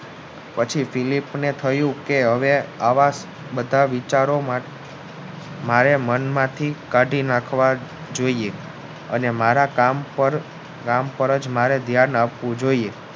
પછી Principal થયું કે હવે આવા બધા વિચારો મારે મનમાંથી કાઢી નાખવા જોઇએ અને મારા કામ પર જ મારે ધ્યાન આપવું જોઇએ